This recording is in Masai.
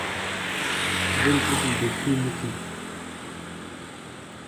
Neitobirr naleng ina siaai oo nkamuka.